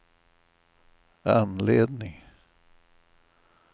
anledning